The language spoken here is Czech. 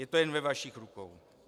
Je to jen ve vašich rukou.